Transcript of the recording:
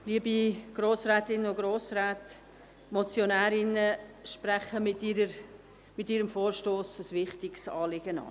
Die Motionärinnen sprechen mit ihrem Vorstoss ein wichtiges Anliegen an.